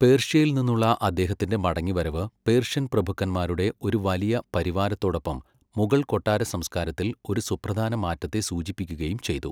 പേർഷ്യയിൽ നിന്നുള്ള അദ്ദേഹത്തിന്റെ മടങ്ങിവരവ് പേർഷ്യൻ പ്രഭുക്കന്മാരുടെ ഒരു വലിയ പരിവാരത്തോടൊപ്പം മുഗൾ കൊട്ടാര സംസ്കാരത്തിൽ ഒരു സുപ്രധാന മാറ്റത്തെ സൂചിപ്പിക്കുകയും ചെയ്തു.